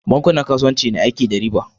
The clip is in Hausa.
bankunan kasuwanci na aiki da riba